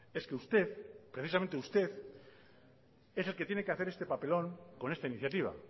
es que usted precisamente usted es el que tiene que hacer este papelón con esta iniciativa